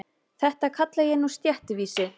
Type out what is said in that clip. Þetta kalla ég nú stéttvísi.